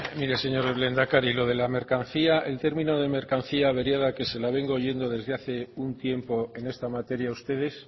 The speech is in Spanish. mire señor lehendakari lo de la mercancía el término de mercancía averiada que se la vengo oyendo desde hace un tiempo en esta materia a ustedes